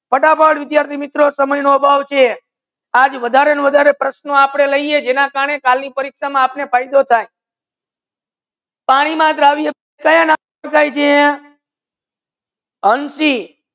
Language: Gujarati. ફટાફટ મિત્રો સમય નુ અભાવ છે આજ વધારે ને વધારે પ્રશ્નો આપડે લાયે જેના કરને આપને કાલે ફયદો થાય પાની માં દ્રવ્યકયા નામ ઓડખાયે છે હંસી?